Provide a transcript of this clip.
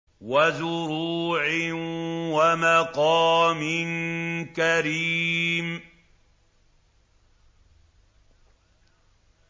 وَزُرُوعٍ وَمَقَامٍ كَرِيمٍ